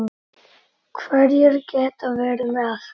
Hverjir geta verið með?